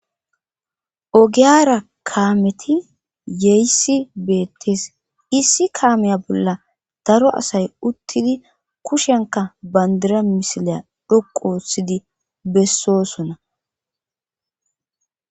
ogiyara kaameti yeysi beettes issi kaameya bolla daro asay uttidi kushenka bandira misileya dhoqu otsidi bessosona